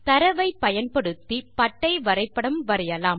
தரவை பயன்படுத்தி பட்டை வரைபடம் வரைவோம்